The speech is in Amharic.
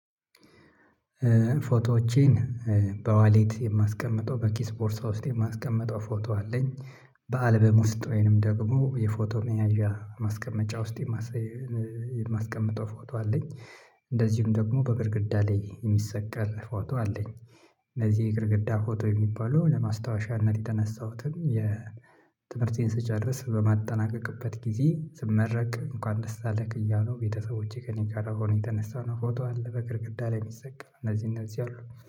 ፎቶዎቼን በዋሌት የማስቀምጠው፣ በኪስ ቦርሳ ውስጥ የማስቀምጠው ፎቶ አለኝ፣ በአልበም ውስጥ ወይንም ደግሞ የፎቶ መያዣ ማስቀመጫ ውስጥ የማስቀምጠው ፎቶ አለኝ እንደዚሁም ደግሞ በግድግዳ ላይ የሚሰቀር ፎቶ አለኝ። እነዚህ የግድግዳ ፎቶ የሚባለው ለማስታወሻነት ለተነሳሁትም ትምህርቴን ስጨርስ በማጠናቀቅበት ጊዜ ስመረቅ እንኳን ደስ አለክ እያሉ ቤተሰቦቼ ከእኔ ጋር ሆነው የተነሳነው ፎቶ አለ በግድግዳ ላይ የሚሰቀል እነዚህ እነዚህ አሉ